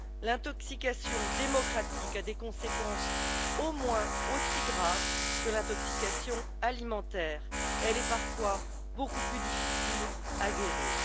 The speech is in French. L'intoxication démocratique a des conséquences au moins aussi graves que l'intoxication alimentaire, elle est parfois beaucoup plus difficile à guérir.